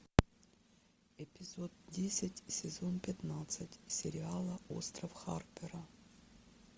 эпизод десять сезон пятнадцать сериала остров харпера